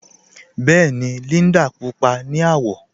Bẹẹni, Líndà púpọ̀ ni awọ